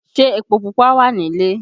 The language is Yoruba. Ṣé epo Pupa wà nílé?